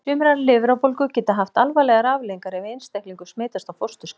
Sumar lifrarbólgur geta haft alvarlegar afleiðingar ef einstaklingur smitast á fósturskeiði.